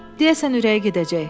Deyəsən ürəyi gedəcək.